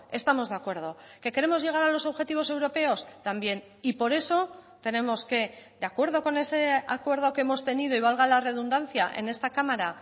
estamos de acuerdo que queremos llegar a los objetivos europeos también y por eso tenemos que de acuerdo con ese acuerdo que hemos tenido y valga la redundancia en esta cámara